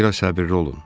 Bir az səbirli olun.